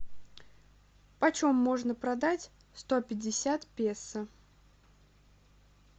почем можно продать сто пятьдесят песо